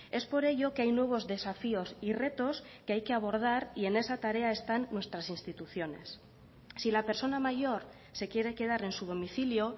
es por ello que hay nuevos desafíos y retos que hay que abordar y en esa tarea están nuestras instituciones si la persona mayor se quiere quedar en su domicilio